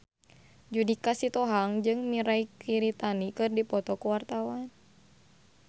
Judika Sitohang jeung Mirei Kiritani keur dipoto ku wartawan